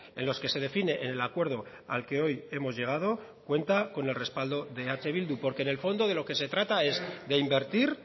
en los que se define el acuerdo al que hoy hemos llegado cuenta con el respaldo de eh bildu porque en el fondo de lo que se trata es de invertir